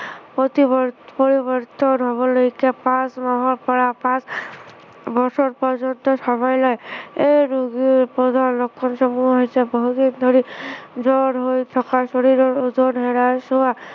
প্ৰতি পৰিৱৰ্তন হবলৈকে পাঁচ মাহৰ পৰা পাঁচ বছৰ পৰ্যন্ত সময় লয়। এই ৰোগীৰ প্ৰধান লক্ষণ সমূহ হৈছে, বহুদিন ধৰি জ্বৰ হৈ থকা, শৰীৰৰ ওজন হেৰাই যোৱা,